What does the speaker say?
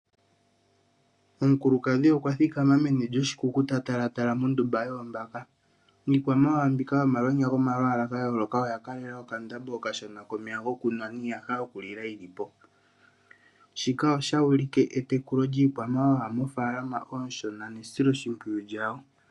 Omukulukadhi okwa thikama meni lyoshi kuku tala tala mondumba yoombaka. Iikwamawawa mbika yomalwonya gomalwala ga yooloka oya kalela okandambo okashona komeya gokunwa niiyaha yoku lilwa yili po. Shika osha ulike etekulo lyiikwamawawa mofalama onshona nesilo shimpwiyu lyawo.